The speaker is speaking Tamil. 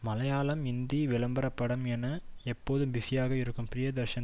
மலையாளம் இந்தி விளம்பர படம் என எப்போதும் பிஸியாக இருக்கும் ப்ரிய தர்ஷன்